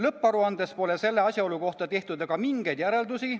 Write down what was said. Lõpparuandes pole selle asjaolu kohta tehtud aga mingeid järeldusi.